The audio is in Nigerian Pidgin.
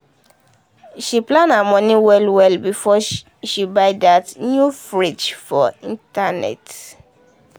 she plan her money well well before shshe buy that new fridge for internet.